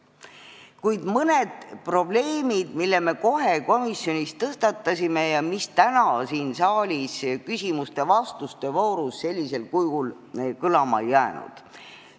Kuid nüüd mõned probleemid, mille me komisjonis kohe tõstatasime, aga mis täna siin saalis küsimuste ja vastuste voorus sellisel kujul kõlama ei jäänud.